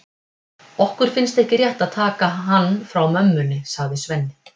Okkur finnst ekki rétt að taka hann frá mömmunni, sagði Svenni.